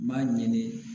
N b'a ɲini